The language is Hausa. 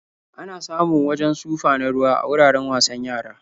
Ana samun wajen sufa na ruwa a wuraren wasan yara.